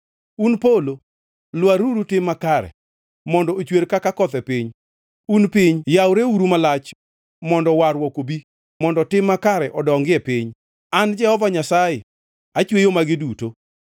“Un polo lwaruru tim makare mondo ochwer kaka koth e piny. Un piny yawreuru malach mondo warruok obi, mondo tim makare odongi e piny, an Jehova Nyasaye achweyo magi duto.